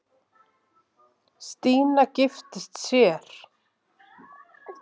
Stína giftist sér.